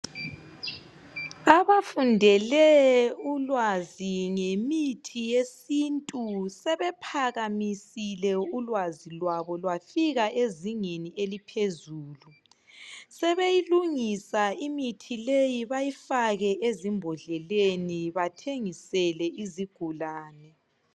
Abafundele ulwazi ngemithi yesintu sebephakamisile ulwazi lwabo lwafika ezingeni eliphezulu sebeyilungisa imithi leyi bayifake ezimbodleleni bamthengisela izigulane.